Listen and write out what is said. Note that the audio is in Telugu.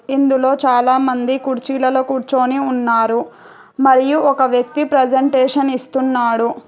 ఇందులో చాలామంది కుర్చీలలో కూర్చొని ఉన్నారు మరియు ఒక వ్యక్తి ప్రజెంటేషన్ ఇస్తున్నాడు.